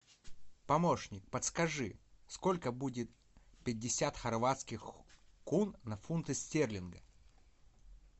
помощник подскажи сколько будет пятьдесят хорватских кун на фунты стерлинга